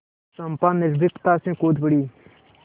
चंपा निर्भीकता से कूद पड़ी